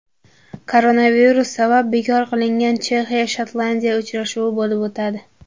Koronavirus sabab bekor qilingan Chexiya Shotlandiya uchrashuvi bo‘lib o‘tadi.